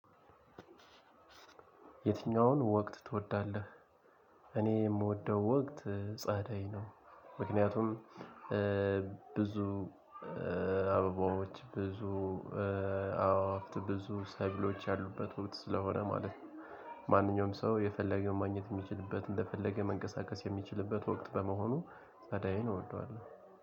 የትኛውን ወቅት ትወዳለህ? እኔ የምወደው ወቅት ጸደይ ነው። ምክንያቱም ብዙ አበባዎች ብዙ አዎ አፍት ብዙ ሰብሎች ያሉበት ወቅት ስለሆነ ማለት ነው። ማንኛውም ሰው የፈለገው ማግኘት የሚችልበት እንደፈለገ መንቀሳቀስ የሚችልበት ወቅት በመሆኑ ጸደይን እወደዋለሁ።